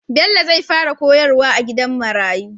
Bello zai fara koyar wa a gidan marayu